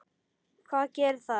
Hvað gerir það?